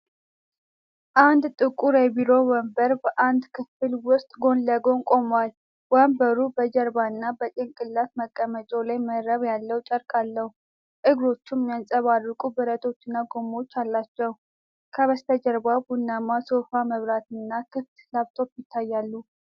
አንድ ጥቁር የቢሮ ወንበር በአንድ ክፍል ውስጥ ጎን ለጎን ቆሟል። ወንበሩ በጀርባና በጭንቅላት መቀመጫው ላይ መረብ ያለው ጨርቅ አለው፤ እግሮቹም የሚያብረቀርቁ ብረቶችና ጎማዎች አሏቸው። ከበስተጀርባ ቡናማ ሶፋ፣ መብራትና ክፍት ላፕቶፕ ይታያሉ።